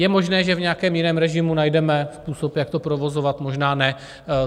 Je možné, že v nějakém jiném režimu najdeme způsob, jak to provozovat, možná ne.